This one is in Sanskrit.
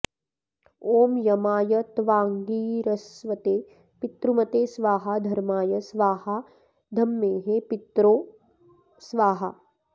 ॐ यमाय त्वांगिरस्वते पितृमते स्वाहा धर्माय स्वाहा धम्र्मेः पित्रो स्वाहा